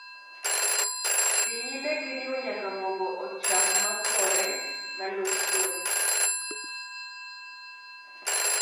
Dhii nyime giriwo nyaka mogo ochak makore malos kuon